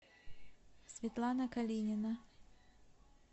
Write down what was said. светлана калинина